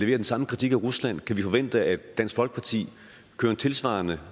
den samme kritik af rusland kan vi forvente at dansk folkeparti kører en tilsvarende